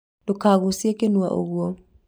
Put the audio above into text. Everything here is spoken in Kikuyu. ndũkagucie kĩnua ũguo